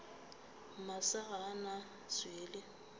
masa ga a na swele